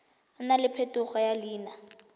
nna le phetogo ya leina